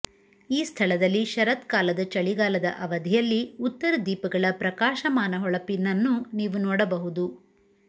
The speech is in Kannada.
ಈ ಸ್ಥಳದಲ್ಲಿ ಶರತ್ಕಾಲದ ಚಳಿಗಾಲದ ಅವಧಿಯಲ್ಲಿ ಉತ್ತರ ದೀಪಗಳ ಪ್ರಕಾಶಮಾನ ಹೊಳಪಿನನ್ನು ನೀವು ನೋಡಬಹುದು